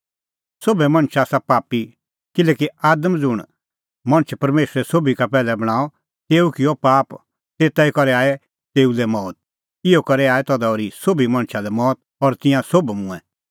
सोभै मणछ आसा पापी किल्हैकि आदम ज़ुंण मणछ परमेशरै सोभी का पैहलै बणांअ तेऊ किअ पाप और तेता करै आई तेऊ लै मौत इहअ करै आई तधा ओर्ही सोभी मणछा लै मौत और तिंयां सोभ मूंऐं